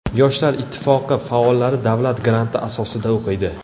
Yoshlar ittifoqi faollari davlat granti asosida o‘qiydi.